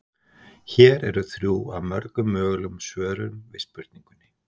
Hér eru þrjú af mörgum mögulegum svörum við spurningunni.